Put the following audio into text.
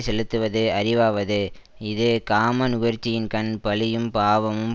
செலுத்துவது அறிவாவது இது காம நுகர்ச்சியின்கண் பழியும் பாவமும்